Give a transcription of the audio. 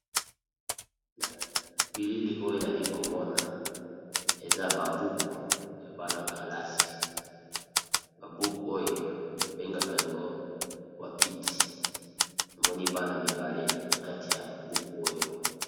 Na bilili oyo na li komona eza babuku ya bana kalasi babuku oyo babengaka yango wapiti namoni bana mibale na kati ya buku oyo.